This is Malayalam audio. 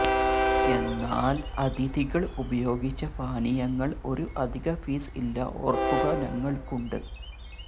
എന്നാൽ അതിഥികൾ ഉപയോഗിച്ച പാനീയങ്ങൾ ഒരു അധിക ഫീസ് ഇല്ല ഓർക്കുക ഞങ്ങൾക്കുണ്ട്